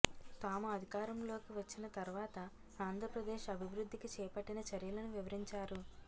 తాము అధికారంలోకి వచ్చిన తర్వాత ఆంధ్రప్రదేశ్ అభివృద్ధికి చేపట్టిన చర్యలను వివరించారు